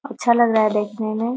अच्छा लग रहा है देखने में।